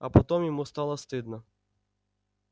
а потом ему стало стыдно